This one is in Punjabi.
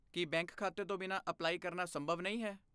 ਕੀ ਬੈਂਕ ਖਾਤੇ ਤੋਂ ਬਿਨਾਂ ਅਪਲਾਈ ਕਰਨਾ ਸੰਭਵ ਨਹੀਂ ਹੈ?